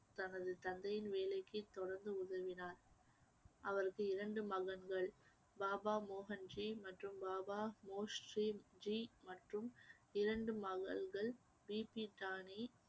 தனது தந்தையின் வேலைக்கு தொடர்ந்து உதவினார் அவருக்கு இரண்டு மகன்கள் பாபா மோகன்ஜி மற்றும் பாபா மொகரி ஜி மற்றும் இரண்டு மகள்கள் பிபி டானி